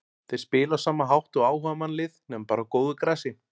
Þeir spila á sama hátt og áhugamannalið nema bara á góðu grasi.